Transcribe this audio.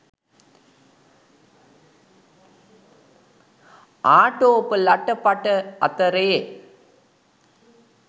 ආටෝප ලට පට අතරේ